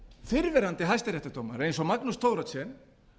fyrrverandi hæstaréttardómarar eins og magnús thoroddsen